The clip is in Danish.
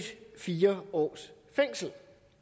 fire års fængsel